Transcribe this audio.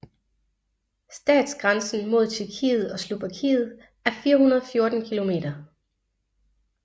Statsgrænsen mod Tjekkiet og Slovakiet er 414 km